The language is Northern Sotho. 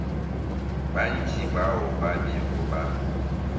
bantši bao ba bego ba